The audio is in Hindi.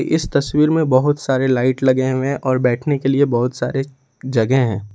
इस तस्वीर में बहुत सारे लाइट लगे हुए हैं और बैठने के लिए बहुत सारे जगह हैं।